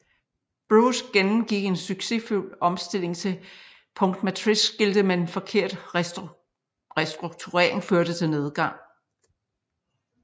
Brose gennemgik en succesfuld omstilling til punktmatrixskilte men forkert restrukturering førte til nedgang